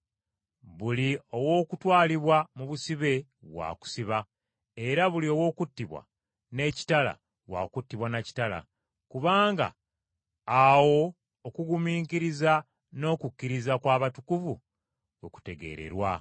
Buli ow’okutwalibwa mu busibe wa kusiba. Era buli ow’okuttibwa n’ekitala, wa kuttibwa na kitala. Kubanga awo okugumiikiriza n’okukkiriza kw’abatukuvu we kutegeererwa.